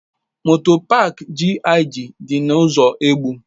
Moto paak GIG dị na ụzọ Egbu.